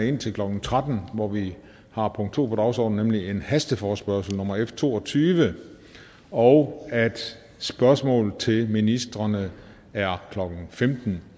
indtil klokken tretten hvor vi har punkt to på dagsordenen nemlig hasteforespørgsel nummer f to og tyve og at spørgsmål til ministrene er klokken femten